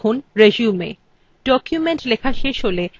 লিখুন resume